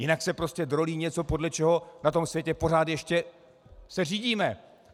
Jinak se prostě drolí něco, podle čeho na tom světě pořád ještě se řídíme.